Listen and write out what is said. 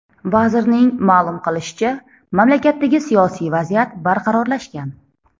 Vazirning ma’lum qilishicha, mamlakatdagi siyosiy vaziyat barqarorlashgan.